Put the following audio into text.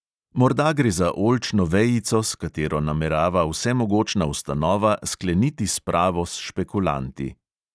Morda gre za oljčno vejico, s katero namerava vsemogočna ustanova skleniti spravo s špekulanti.